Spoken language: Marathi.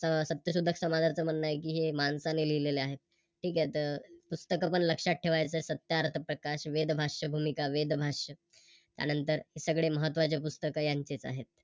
तर सत्यशोधक समजच म्ह्णण आहे कि हे माणसाने लिहलेले आहे. ठीक आहे तर पुस्तक पण लक्षात ठेवायचं सत्यार्थ प्रकाश, वेदभाश्यभूमी, वेदभाष्य त्यानंतर सगळे महत्तवाचे पुस्तक यांचेच आहेत